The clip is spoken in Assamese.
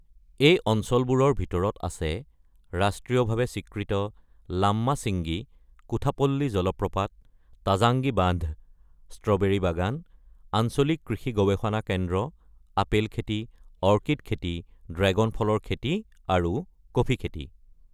এই অঞ্চলবোৰৰ ভিতৰত আছে ৰাষ্ট্ৰীয় ভাৱে স্বীকৃত লামমাচিঙ্গি, কোঠাপল্লী জলপ্ৰপাত, তাজাংগী বান্ধ, ষ্ট্ৰবেৰী বাগান, আঞ্চলিক কৃষি গৱেষণা কেন্দ্ৰ, আপেল খেতি, অৰ্কিড খেতি, ড্ৰেগন ফলৰ খেতি আৰু কফী খেতি।